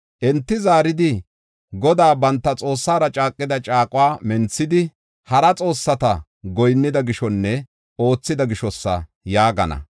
Enti zaaridi, ‘Godaa banta Xoossara caaqida caaquwa menthidi, hara xoossata goyinnida gishonne oothida gishosa’ ” yaagana.